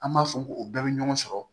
An b'a fɔ ko o bɛɛ bɛ ɲɔgɔn sɔrɔ